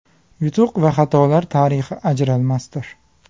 Yutuq va xatolar tarixi ajralmasdir.